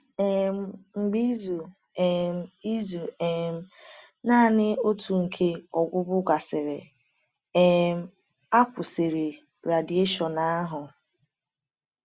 um Mgbe izu um izu um naanị otu nke ọgwụgwọ gasịrị, um a kwụsịrị radieshon ahụ.